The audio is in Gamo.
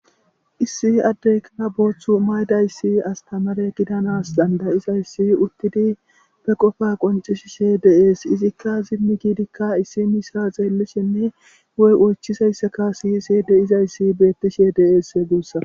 Issi addeyika booththu maydayssi astamare gidanas dandayizayssi uttidi be qofa qoncishishe deees izikka zimmi giidikka issi misa xeellishinne woy oychisayssaka siyisi de izayssi beettishe deees guussa.